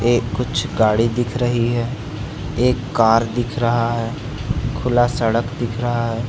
एक कुछ गाड़ी दिख रही है एक कार दिख रहा है खुला सड़क दिख रहा है।